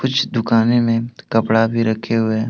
कुछ दुकाने में कपड़ा भी रखे हुए हैं।